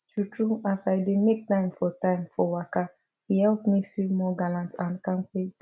true true as i dey make time for time for waka e help me feel more gallant and kampe